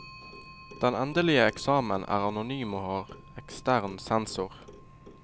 Den endelige eksamen er anonym og har ekstern sensor.